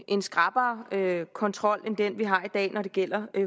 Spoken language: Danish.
en skrappere kontrol end den vi har i dag når det gælder